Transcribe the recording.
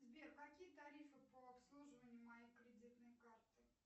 сбер какие тарифы по обслуживанию моей кредитной карты